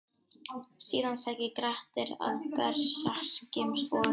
Síðan sækir Grettir að berserkjum og: